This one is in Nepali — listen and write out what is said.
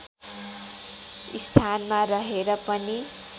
स्थानमा रहेर पनि